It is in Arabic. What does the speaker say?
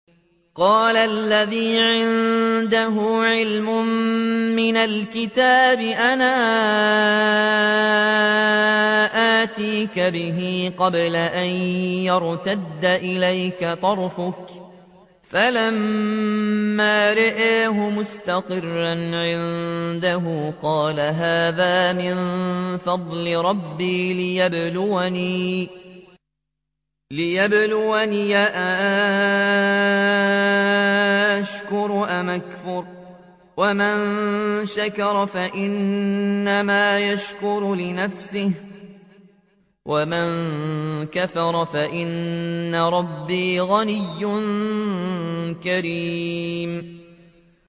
قَالَ الَّذِي عِندَهُ عِلْمٌ مِّنَ الْكِتَابِ أَنَا آتِيكَ بِهِ قَبْلَ أَن يَرْتَدَّ إِلَيْكَ طَرْفُكَ ۚ فَلَمَّا رَآهُ مُسْتَقِرًّا عِندَهُ قَالَ هَٰذَا مِن فَضْلِ رَبِّي لِيَبْلُوَنِي أَأَشْكُرُ أَمْ أَكْفُرُ ۖ وَمَن شَكَرَ فَإِنَّمَا يَشْكُرُ لِنَفْسِهِ ۖ وَمَن كَفَرَ فَإِنَّ رَبِّي غَنِيٌّ كَرِيمٌ